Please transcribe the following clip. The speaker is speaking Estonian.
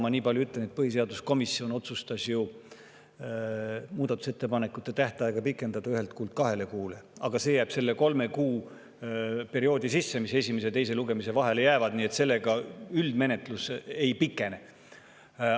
Ma nii palju ütlen, et põhiseaduskomisjon otsustas muudatusettepanekute tähtaega pikendada ühelt kuult kahele kuule, aga see jääb selle kolme kuu perioodi sisse, mis esimese ja teise lugemise vahele jääb, nii et üldine menetlus ei pikene.